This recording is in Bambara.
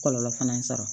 Kɔlɔlɔ fana sɔrɔ